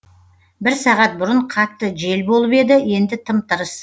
бір сағат бұрын қатты жел болып еді енді тым тырыс